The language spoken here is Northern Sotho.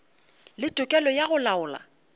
le tokelo ya go laola